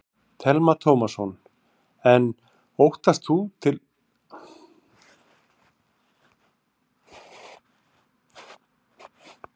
Telma Tómasson: En óttast þú að til átaka kunni að koma á vinnumarkaði?